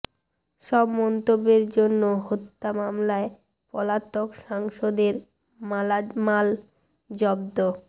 সব মন্তব্যের জন্য হত্যা মামলায় পলাতক সাংসদের মালামাল জব্দ